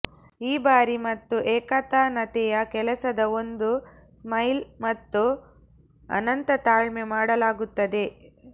ಈ ಭಾರೀ ಮತ್ತು ಏಕತಾನತೆಯ ಕೆಲಸದ ಒಂದು ಸ್ಮೈಲ್ ಮತ್ತು ಅನಂತ ತಾಳ್ಮೆ ಮಾಡಲಾಗುತ್ತದೆ